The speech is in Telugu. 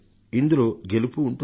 ఇందులో గెలుపూ ఉంటుంది